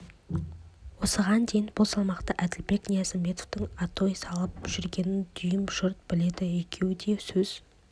осыған дейін бұл салмақта әділбек ниязымбетовтің атой салып жүргенін дүйім жұрт біледі екеуі де сөз